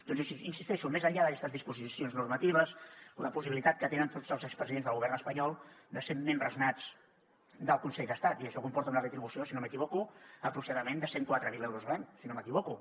doncs hi insisteixo més enllà d’aquestes disposicions normatives la possibilitat que tenen tots els expresidents del govern espanyol de ser membres nats del consell d’estat i això comporta una retribució si no m’equivoco aproximadament de cent i quatre mil euros a l’any si no m’equivoco